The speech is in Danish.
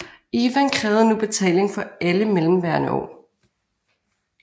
Ivan krævede nu betaling for alle mellemværende år